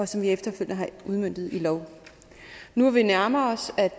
som vi efterfølgende har udmøntet i lov nu hvor vi nærmer os